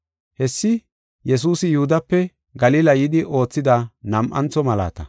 Hessi Yesuusi Yihudape Galila yidi oothida nam7antho malaata.